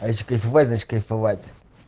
е если кайфовать значит кайфовать